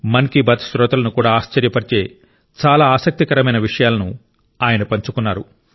మన్ కీ బాత్ శ్రోతలను కూడా ఆశ్చర్యపరిచే చాలా ఆసక్తికరమైన విషయాలను ఆయన పంచుకున్నారు